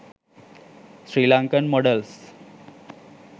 srilankan modals